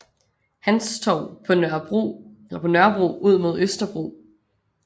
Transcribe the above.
Hans Torv på Nørrebro ud mod Østerbro